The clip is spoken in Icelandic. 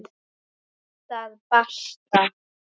Punktur basta!